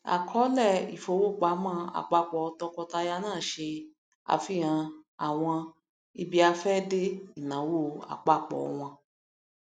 àkọọlẹ ifowopamọ apapọ tọkọtaya náà ṣe àfihàn àwọn ibiafẹde ináwo apapọ wọn